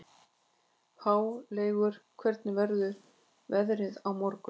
Háleygur, hvernig verður veðrið á morgun?